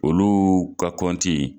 Olu ka kɔnti